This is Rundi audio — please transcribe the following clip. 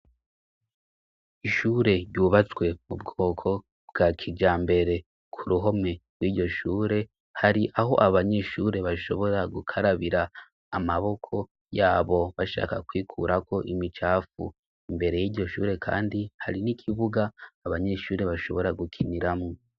Ishure ryubatswe mu bwoko bwa kijambere. Ku ruhome rw'iryo shure hari aho abanyeshure bashobora gukarabira amaboko yabo bashaka kwikurako imicafu. Imbere y'iryo shure kandi hari n'ikibuga abanyeshure bashobora gukiniramwo.